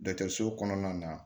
Dɔkitɛriso kɔnɔna na